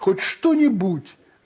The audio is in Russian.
хоть что-нибудь